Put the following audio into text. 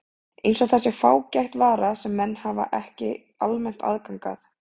Eins og það sé fágæt vara sem menn hafi ekki almennt aðgang að.